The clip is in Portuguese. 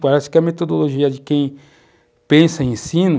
Parece que a metodologia de quem pensa em ensino